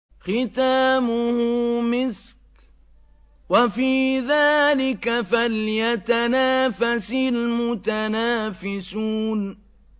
خِتَامُهُ مِسْكٌ ۚ وَفِي ذَٰلِكَ فَلْيَتَنَافَسِ الْمُتَنَافِسُونَ